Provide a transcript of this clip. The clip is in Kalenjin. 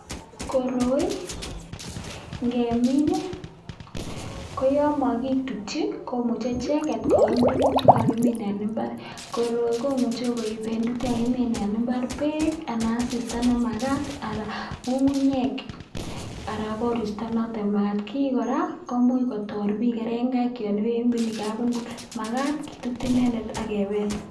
Koroi ng'emin ko yoon mokitutyi ko muche icheket koim tukuk chekakimin en imbar, koroi komuche koiben tukuk chekakimin mbar beek anan asista nemakat anan ng'ung'unyek aran koristo noton makat, kii kora komuch kotor biik kereng'aik yoon iwendi kabungui makat kitut inendet ak kebel.